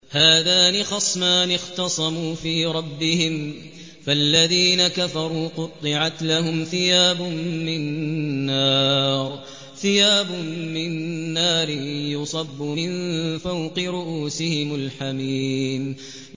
۞ هَٰذَانِ خَصْمَانِ اخْتَصَمُوا فِي رَبِّهِمْ ۖ فَالَّذِينَ كَفَرُوا قُطِّعَتْ لَهُمْ ثِيَابٌ مِّن نَّارٍ يُصَبُّ مِن فَوْقِ رُءُوسِهِمُ الْحَمِيمُ